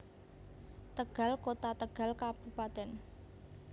Tegal Kota Tegal Kab